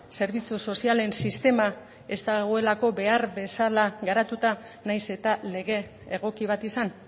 zerbitzu sozialen sistema ez dagoelako behar bezala garatuta nahiz eta lege egoki bat izan